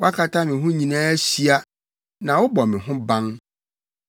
Woakata me ho nyinaa ahyia na wobɔ me ho ban.